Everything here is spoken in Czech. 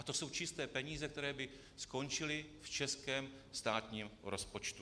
A to jsou čisté peníze, které by skončily v českém státním rozpočtu.